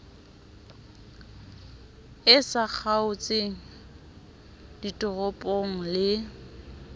e sa kgaotseng ditoropong le